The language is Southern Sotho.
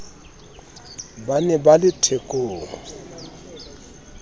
ba ne ba le thekong